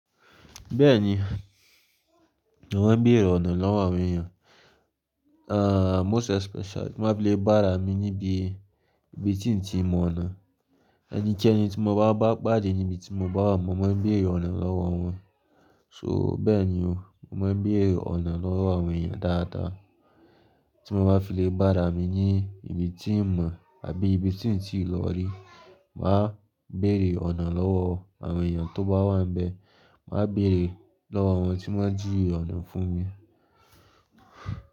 Bẹ́ẹ̀ni, mo máa ń bèrè ọ̀nà lọ́wọ́ àwọn èèyàn. Most especially tí mo bá lè bára mi níbi, ibi tí n ti mọ̀ ọ̀nà. Ẹni ke ẹni tí mo bá pàdé níbi tí mo bá wà, mo máa ń bèrè ọ̀nà lọ́wọ́ wọn. So bẹ́ẹ̀ ni o, mo máa ń bèrè ọ̀nà lọ́wọ́ àwọn èèyàn dáadáa. Tí mo bá fi lè bára mi yín ibi tí n mọ̀ àbí ibi tí n ti lọ rí, màá béèrè ọ̀nà lọ́wọ́ àwọn èèyàn tó bá wà níbẹ̀. Màá béèrè lọ́wọ́ àwọn tí wọ́n jí ọ̀nà fún mi.